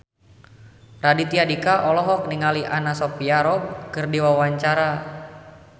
Raditya Dika olohok ningali Anna Sophia Robb keur diwawancara